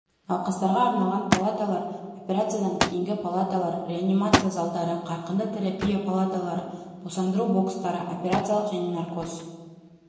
науқастарға арналған палаталар операциядан кейінгі палаталар реанимация залдары қарқынды терапия палаталары босандыру бокстары операциялық және наркоз